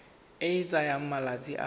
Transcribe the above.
e e tsayang malatsi a